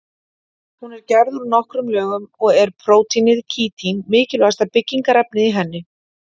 Hún er gerð úr nokkrum lögum og er prótínið kítín mikilvægasta byggingarefnið í henni.